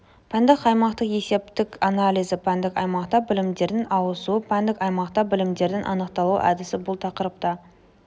пәндік аймақтың есептік анализі пәндік аймақта білімдердің ауысуы пәндік аймақта білімдердің анықталуы әдісі бұл тақырыпта